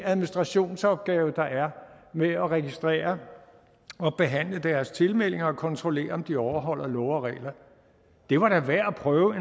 administrationsopgave der er med at registrere og behandle deres tilmelding og kontrollere om de overholder love og regler det var da værd at prøve